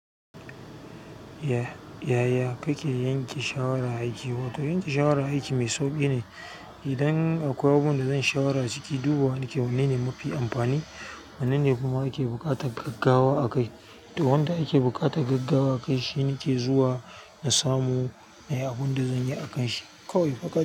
Yaya kake yanke shawara aiki? Wato yanke shawara a aiki me sauƙi ne idan akwai abubuwan da zan shawara a ciki, dubawa nake wanne ne mafi amfani, wanne ne kuma ake buƙatar gaggawa a kai. To wanda ake buƙatar gaggawa akai shinake zuwa nasamu nayi abunda zanyi akanshi kawai faƙat.